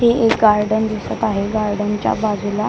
हे एक गार्डन दिसत आहे गार्डन च्या बाजूला --